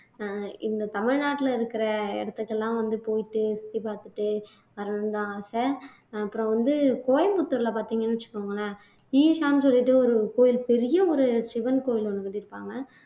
ஆஹ் இந்த தமிழ்நாட்டுல இருக்கிற இடத்துக்கெல்லாம் வந்து போயிட்டு சுத்தி பார்த்துட்டு வரணும்தான் ஆசை அப்புறம் வந்து கோயம்புத்தூர்ல பார்த்தீங்கன்னு வச்சுக்கோங்களேன் ஈசான்னு சொல்லிட்டு ஒரு கோயில் பெரிய ஒரு சிவன் கோயில் ஒண்ணு கட்டியிருப்பாங்க